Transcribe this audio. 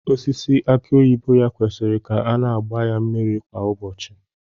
Osisi aki oyibo ya kwesịrị ka a na-agba ya mmiri kwa ụbọchị